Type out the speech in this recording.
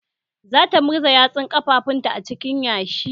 Zata murza yatsun ƙafafunta a cikin yashi.